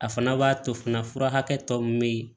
A fana b'a to fana fura hakɛ tɔ min bɛ ye